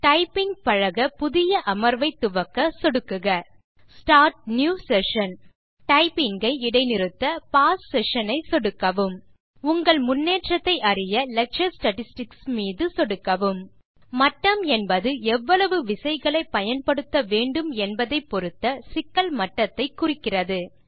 typing பழக புதிய அமர்வை துவக்க சொடுக்குக ஸ்டார்ட் நியூ செஷன் டைப்பிங் ஐ இடை நிறுத்த பாஸ் செஷன் ஐ சொடுக்கவும் உங்கள் முன்னேற்றத்தை அறிய லெக்சர் ஸ்டாட்டிஸ்டிக்ஸ் மீது சொடுக்கவும் மட்டம் என்பது எவ்வளவு விசைகளை பயன்படுத்த வேண்டும் என்பதை பொருத்த சிக்கல் மட்டத்தை குறிக்கிறது